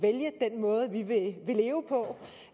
vælge den måde vi vil leve på